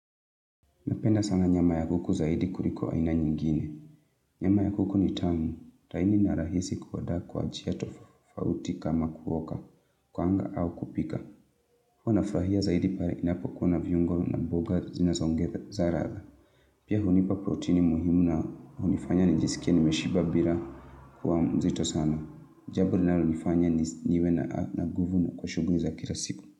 Mpenda sana nyama ya kuku zaidi kuri kwa ina nyingine. Nyama ya kuku ni tangu. Taini na rahisi kuwada kwa jiato fauti kama kuwoka, kuanga au kupika. Kwa na flahia zaidi pare inapo kwa na vyungo na boga zina zongetha zarada. Pia hunipa proteini muhimu na hunifanya nijisikia ni meshiba bila kwa mzito sana. Jaburi na runifanya niwe na guvu na kwa shugun za kira siku.